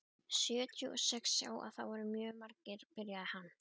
Sjötíu og sex sjá það mjög margir, byrjaði hann.